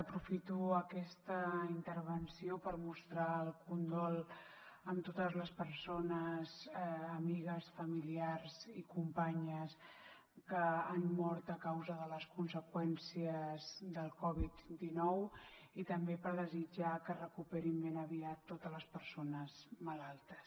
aprofito aquesta intervenció per mostrar el condol a totes les persones amigues familiars i companyes que han mort a causa de les conseqüències de la covid dinou i també per desitjar que es recuperin ben aviat totes les persones malaltes